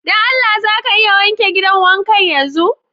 Don Allah za ka iya wanke gidan wankan yanzu?